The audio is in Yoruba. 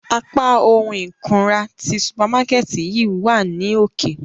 Apa ohun ikunra ti supamakẹti yii wa ni oke.